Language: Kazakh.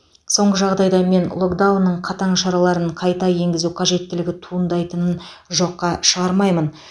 соңғы жағдайда мен локдаунның қатаң шараларын қайта енгізу қажеттілігі туындайтынын жоққа шығармаймын